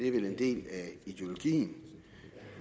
er vel en del af ideologien